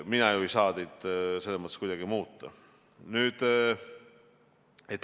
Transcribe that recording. Mina ju ei saa teid selles mõttes kuidagi muuta.